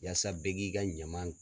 Yasa bɛɛ k'i ka ɲaman